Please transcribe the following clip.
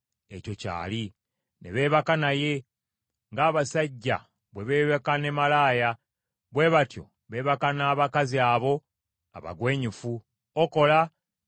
Ne beebaka naye. Ng’abasajja bwe beebaka ne malaaya, bwe batyo beebaka n’abakazi abo abagwenyufu, Okola ne Okoliba.